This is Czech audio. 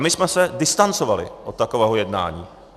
A my jsme se distancovali od takového jednání.